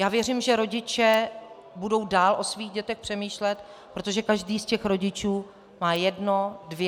Já věřím, že rodiče budou dál o svých dětech přemýšlet, protože každý z těch rodičů má jedno, dvě.